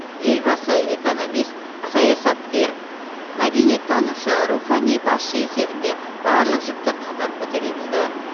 елбасы экономист саясаткер мәдениеттанушы рухани басшы есебінде барлық жүкті қатар көтере білді